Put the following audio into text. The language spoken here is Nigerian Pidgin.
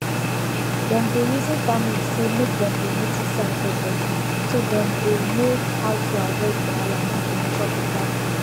dem dey reason families say make dem dey notice sign for body so dem go no how to aviod wahala make dem chop better food